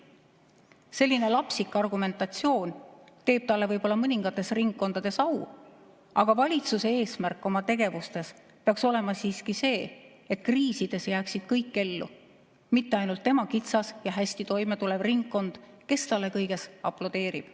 Selline lapsik argumentatsioon teeb talle võib-olla mõningates ringkondades au, aga valitsuse eesmärk oma tegevustes peaks olema siiski see, et kriisides jääksid kõik ellu, mitte ainult tema kitsas ja hästi toimetulev ringkond, kes talle kõiges aplodeerib.